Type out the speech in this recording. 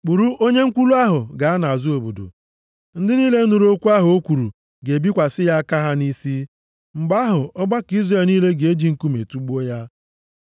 “Kpụrụ onye nkwulu ahụ gaa nʼazụ obodo. Ndị niile nụrụ okwu ahụ o kwuru ga-ebikwasị ya aka ha nʼisi. Mgbe ahụ, ọgbakọ Izrel niile ga-eji nkume tugbuo ya.